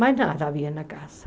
Mas nada havia na casa.